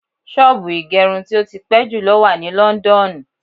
Ṣọ́ọ̀bù ìgẹrub tí ó ti pẹ́ jùlọ wà ní ìlú Lọ́ńdọ́ọ̀nù.